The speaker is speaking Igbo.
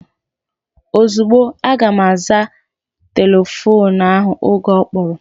Ozugbo, aga m aza telefoonu ahụ oge ọ kpọrọ